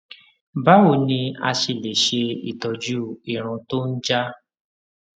báwo ni a ṣe lè se itoju irun to n ja